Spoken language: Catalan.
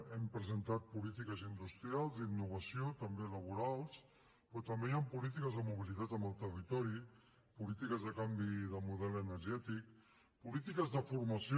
hem presentat polítiques industrials d’innovació també laborals però també hi han polítiques de mobilitat en el territori polítiques de canvi de model energètic polítiques de formació